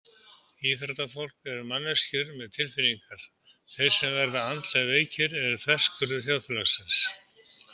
Íþróttafólk eru manneskjur með tilfinningar Þeir sem verða andlega veikir eru þverskurður þjóðfélagsins.